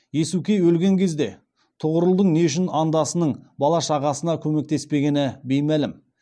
иесукей өлген кезде тұғырылдың не үшін андасының бала шағасына көмектеспегені беймәлім